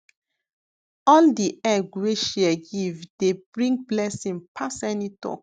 all the egg wey share give dey bring blessing pass any talk